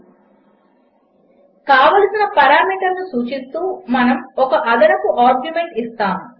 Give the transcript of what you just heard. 4 కావలసిన పారామీటర్ను సూచిస్తూ మనము ఒక అదనపు ఆర్గ్యుమెంట్ ఇస్తాము